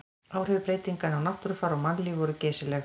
Áhrif breytinganna á náttúrufar og mannlíf voru geysileg.